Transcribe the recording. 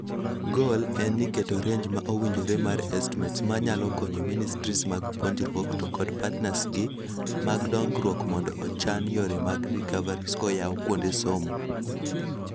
Goal en ni keto range ma owinjore mar estmates manyalo konyo ministries mag puonjruok to kod partners gi mag dongruok mondo ochan yore mag recoveries kaoyaw kuonde somo.